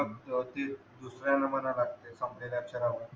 दुसऱ्याला म्हणावे लागते फसलेल्या अक्षरावर